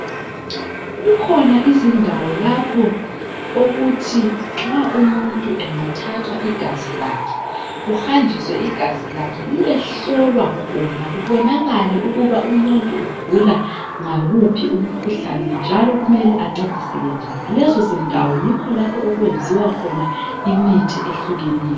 Kukhona izindawo lapho okuthi nxa umuntu angathathwa igazi lakhe kuhanjwise igazi lakhe liyehlolwa khona kubanakale ukuthi umuntu ugula ngawuphi umkhuhlane njalo kumele ancediseke njani. Lezo zindawo yikho lapho okuyenziwa khona imithi ehlukeneyo.